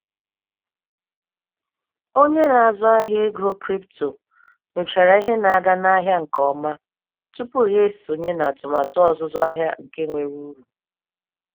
Onye na-azụ ahịa ego kripto nyochara ihe na-aga n'ahịa nke ọma tupu ya esonye n'atụmatụ ọzụzụ ahia nke nwere uru.